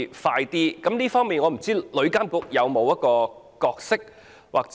在這方面，旅監局有否一個角色？